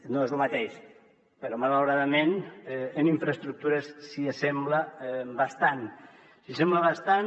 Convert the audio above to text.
no és lo mateix però malauradament en infraestructures s’hi assembla bastant s’hi assembla bastant